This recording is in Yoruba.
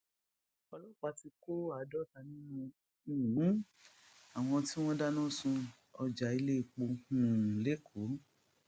ọlọpàá ti kó àádọta nínú um àwọn tí wọn dáná sun ọjà ìléèpó um lẹkọọ